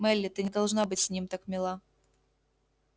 мелли ты не должна быть с ним так мила